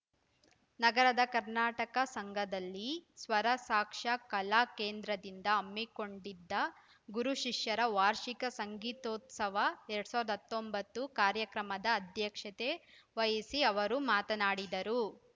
ನಗರದ ಕರ್ನಾಟಕ ಸಂಘದಲ್ಲಿ ಸ್ವರಸಾಕ್ಷಾ ಕಲಾ ಕೇಂದ್ರದಿಂದ ಹಮ್ಮಿಕೊಂಡಿದ್ದ ಗುರು ಶಿಷ್ಯರ ವಾರ್ಷಿಕ ಸಂಗೀತೋತ್ಸವ ಎರಡ್ ಸಾವಿರದ ಹತ್ತೊಂಬತ್ತು ಕಾರ್ಯಕ್ರಮದ ಅಧ್ಯಕ್ಷತೆ ವಹಿಸಿ ಅವರು ಮಾತನಾಡಿದರು